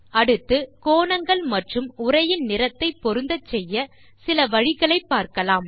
அடுத்து கோணங்கள் மற்றும் உரையின் நிறத்தை பொருந்தச்செய்ய சில வழிகளைப் பார்க்கலாம்